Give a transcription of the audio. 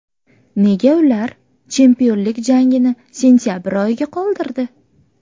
Nega ular chempionlik jangini sentabr oyiga qoldirdi?